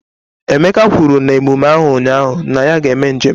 Emeka kwuru na emume ahụ ụnyaahụ na ya ga-eme njem.